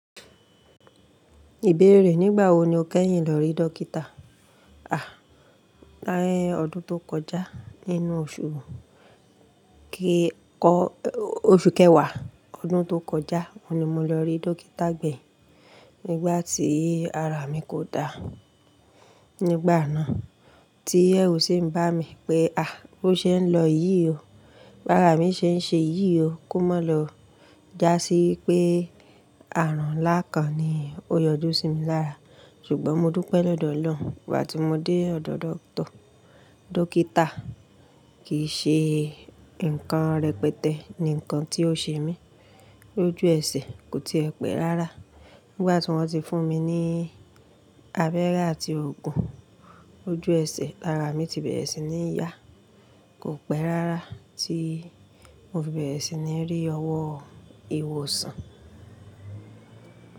Ìbéèrè, nígbà wo ni o kẹ́yìn lọ rí dókítà? À, l'ayé ọdún tó kọjá nínú oṣù kẹ́kọ, oṣù kẹwàá ọdún tó kọjá, o ni mo lọ rí dókítà gbẹ̀yìn nígbà tí ara mi kò da. Nígbà náà tí ẹrú ṣé ń bá mi pé à bó ṣé ń lọ yìí o, bá ara mi ṣe ń ṣe yìí o kó má lọ já sí wípé àrùn láǹkán ni ó yọjú sí mi lára. Ṣùgbọ́n mo dúpẹ́ lọ́dọ̀ Ọlọ́run nígbà tí mo dé ọ̀dọ̀ dókítà, kìí ṣe nǹkan rẹpẹtẹ ni nǹkan tí ó ṣe mi. Ojú ẹsẹ̀ kò tíì ẹ pẹ́ rárá. Nígbà tí wọ́n ti fún mi ní abẹ́rẹ́ àti òògùn, ojú ẹsẹ̀ ara mi ti bẹ̀rẹ̀ sí ní yá, kò pẹ́ rárá tí mo fi bẹ̀rẹ̀ sí ní rí ọwọ́ ìwòsàn.